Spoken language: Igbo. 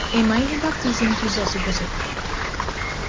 Ị ma ihe baptism Jizọs gosipụtara?